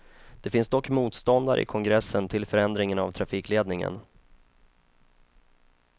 Det finns dock motståndare i kongressen till förändringen av trafikledningen.